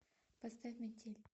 поставь метель